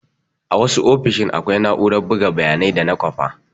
A wasu ofishin akwai na'urar buga bayanai da na kwafa.